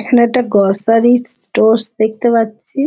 এখানে একটা groceries stores দেখতে পাচ্ছি